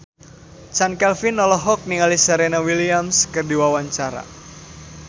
Chand Kelvin olohok ningali Serena Williams keur diwawancara